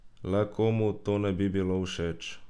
Le komu to ne bi bilo všeč?